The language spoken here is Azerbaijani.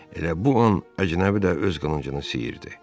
Elə bu an əcnəbi də öz qılıncını siyirdi.